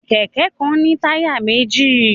Kẹ̀kẹ́ kan ní táyà méjì